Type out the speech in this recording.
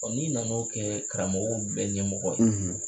Ɔ n'i nan'o kɛ karamɔgɔw bɛɛ ɲɛmɔgɔ ye.